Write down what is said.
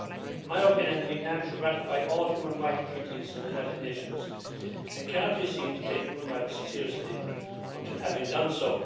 In my opinion, Vietnam should ratify all human rights treaties of the United Nations, and cannot be seen to take human rights seriously until having done so.